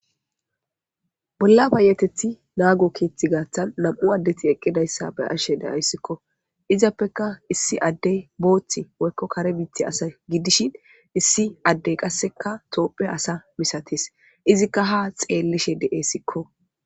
Bolla payetethi naago keethe gaathan nam'u addeti eqqidayssa be'ashe de'aysiko; izappeka issi addey boothi woykko kare biita ase gidishin issi addey qasseka tophphiya asa misatees; iziika ha xeelishe de'esikko.